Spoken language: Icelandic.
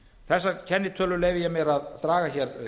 þessar kennitölur leyfi ég mér að draga hér